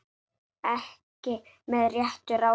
Ekki með réttu ráði?